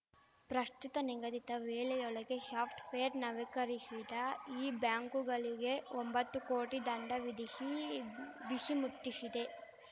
ಪ್ರಶ್ತುತ ನಿಗದಿತ ವೇಳೆಯೊಳಗೆ ಶಾಫ್ಟ್‌ವೇರ್ ನವೀಕರಿಶದ ಈ ಬ್ಯಾಂಕುಗಳಿಗೆ ಒಂಬತ್ತು ಕೋಟಿ ದಂಡ ವಿಧಿಶಿ ಬಿಶಿ ಮುಟ್ಟಿಶಿದೆ